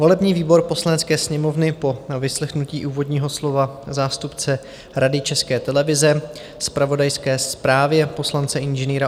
"Volební výbor Poslanecké sněmovny po vyslechnutí úvodního slova zástupce Rady České televize, zpravodajské zprávě poslance Ing.